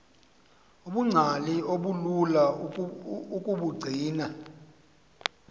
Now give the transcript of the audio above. ubungcali obulula ukubugcina